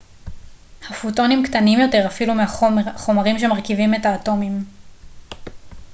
הפוטונים קטנים יותר אפילו מהחומרים שמרכיבים את האטומים